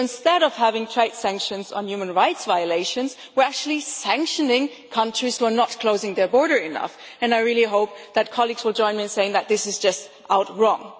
So instead of having trade sanctions on human rights violations we are actually sanctioning countries who are not closing their border enough and I really hope that colleagues will join me in saying that this is just outright wrong.